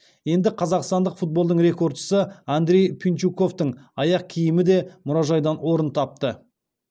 енді қазақстандық футболдың рекордшысы андрей пинчуковтың аяқ киімі де мұражайдан орын тапты